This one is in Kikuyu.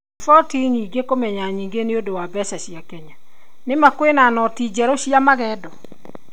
Riboti nyingi kũmenya nyingi nĩundũ wa mbeca cia Kenya:Nĩ ma kwĩna noti njerũ cia magendo?